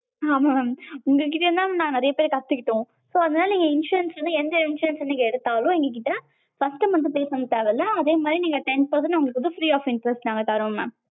ஆமா mam உங்க கிட்ட இருந்து தான் mam நாங்க நெறையவே கத்துகிட்டோம். so insurance வந்து நீங்க நீங்க எந்த insurance எடுத்தாலும் எங்க கிட்ட first month pay பண்ண தேவ இல்ல, அதே மாதிரி நீங்க வந்து ten percent உங்களுக்கு வந்து free of interest தாரோம் mam.